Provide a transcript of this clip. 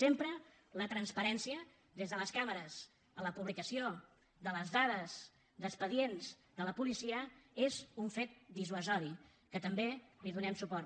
sempre la transparència des de les càmeres a la publicació de les dades d’expedients de la policia és un fet dissuasiu que també li donem suport